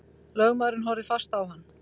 Lögmaðurinn horfði fast á hann.